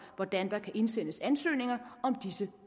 hvordan der kan indsendes ansøgninger om disse